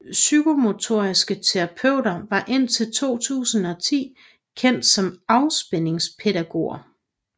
Psykomotoriske terapeuter var indtil 2010 kendt som afspændingspædagoger